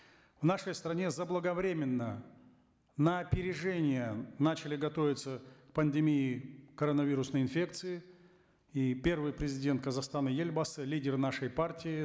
в нашей стране заблаговременно на опережение начали готовиться к пандемии коронавирусной инфекции и первый президент казахстана елбасы лидер нашей партии